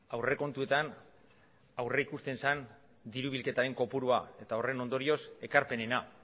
aurrekontuetan aurrikusten zen dirubilketaren kopurua eta horren ondorioz ekarpenena